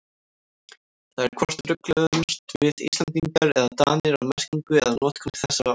Það er hvort rugluðumst við Íslendingar eða Danir á merkingu eða notkun þessara orða.